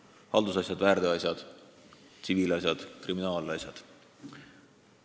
Need on siis haldusasjad, väärteoasjad, tsiviilasjad ja kriminaalasjad.